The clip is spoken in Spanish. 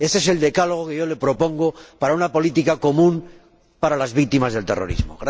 Ese es el decálogo que yo le propongo para una política común para las víctimas del terrorismo.